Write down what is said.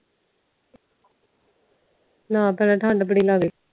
ਨਾ ਭੈਣਾਂ ਠੰਡ ਬੜੀ ਲਗਦੀ ਆ